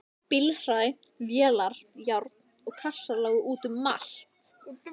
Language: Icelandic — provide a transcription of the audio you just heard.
Bílhræ, vélar, járn og kassar lágu út um allt.